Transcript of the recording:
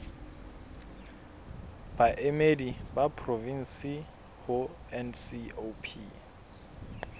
baemedi ba porofensi ho ncop